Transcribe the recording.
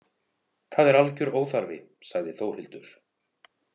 Það er algjör óþarfi, sagði Þórhildur.